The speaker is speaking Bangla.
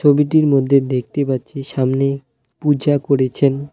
ছবিটির মধ্যে দেখতে পাচ্ছি সামনে পূজা করেছেন।